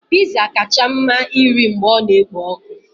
Pizza kacha mma irì mgbe ọ na-ekpo ọkụ.